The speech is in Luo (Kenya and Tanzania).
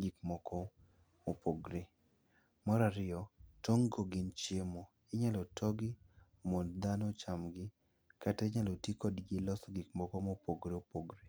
gik moko mopogore. Mar ariyo, tong' go gin chiemo. Inyalo togi mondo dhano ochamgi. Kata inyalo ti kodgo loso gik moko mopogore opogore.